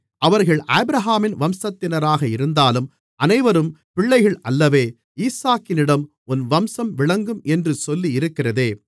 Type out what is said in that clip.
அவர்கள் ஆபிரகாமின் வம்சத்தினராக இருந்தாலும் அனைவரும் பிள்ளைகள் அல்லவே ஈசாக்கினிடம் உன் வம்சம் விளங்கும் என்று சொல்லியிருக்கிறதே